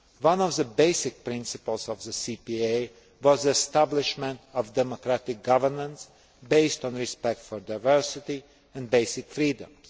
One of the basic principles of the CPA was the establishment of democratic governments based on respect for diversity and basic freedoms.